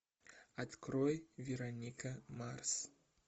открой вероника марс